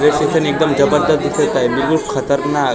देशाचे निकाल जगाला दिसतं आहे म्हणून खतरनाक--